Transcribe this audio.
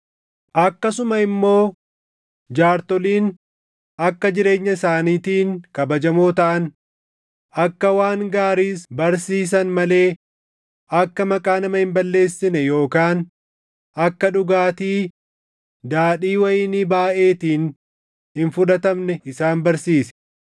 Akkasuma immoo jaartoliin akka jireenya isaaniitiin kabajamoo taʼan, akka waan gaariis barsiisan malee akka maqaa nama hin balleessine yookaan akka dhugaatii daadhii wayinii baayʼeetiin hin fudhatamne isaan barsiisi.